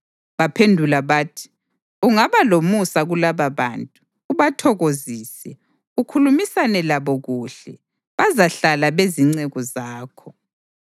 Baphendula bathi, “Ungaba lomusa kulababantu, ubathokozise, ukhulumisane labo kuhle, bazahlala bezinceku zakho.”